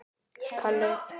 Snúa til baka úr láni